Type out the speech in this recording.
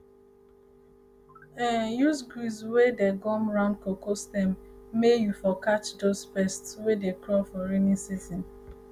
um use grease wey dey gum round cocoa stem may um you for catch dose pest um wey dey crawl for raining season